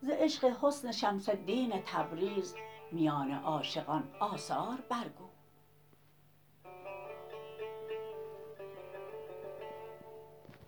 ز عشق حسن شمس الدین تبریز میان عاشقان آثار برگو